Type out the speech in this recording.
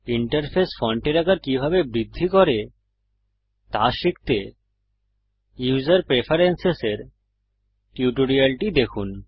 interface ফন্টের আকার কিভাবে বৃদ্ধি করে তা শিখতে ইউসার প্রেফারেন্সেসের টিউটোরিয়ালটি দেখুন